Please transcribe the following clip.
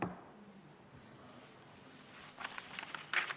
Hääletustulemused Poolt hääletas 63 Riigikogu liiget, vastuolijaid ja erapooletuid ei olnud.